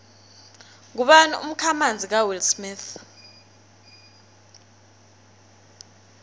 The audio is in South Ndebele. ngubani umkhamanzi kawillsmith